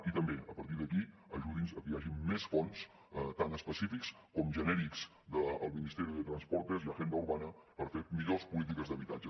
i també a partir d’aquí ajudi’ns a que hi hagi més fons tant específics com genèrics del ministerio de transportes y agenda urbana per fer millors polítiques d’habitatge